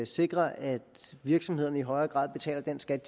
sikre at virksomhederne i højere grad betaler den skat